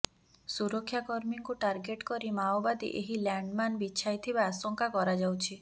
ସୁରକ୍ଷାକର୍ମୀଙ୍କୁ ଟାର୍ଗେଟ କରି ମାଓବାଦୀ ଏହି ଲ୍ୟାଣ୍ଡମାନ୍ ବିଛାଇଥିବା ଆଶଙ୍କା କରାଯାଉଛି